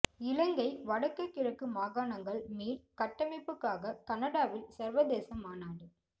இலங்கை வடக்கு கிழக்கு மாகாணங்கள் மீள் கட்டமைப்புக்காக கனடாவில் சர்வதேச மாநாடு